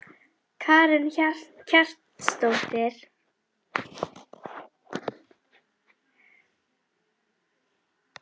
Karen Kjartansdóttir: En komu athugasemdir frá Landsvirkjun ekki mjög seint?